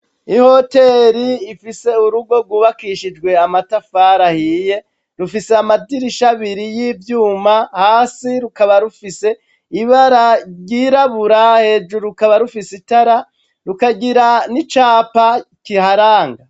Ihoteri ifise urugo rwubakishijwe amatafari ahiye rufise amadirisha abiri y'ivyuma hasi rukaba rufise ibara ryirabura hejuru rukaba rufise itara rukagira n'icapa kiharanga.